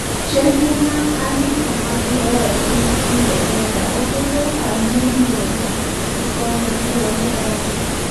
chenro mag andika mag lowoe piny ingereza oket e okang' mowinjore e konyo thiro mibadhi